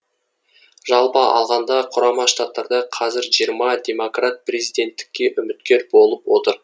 жалпы алғанда құрама штаттарда қазір жиырма демократ президенттікке үміткер болып отыр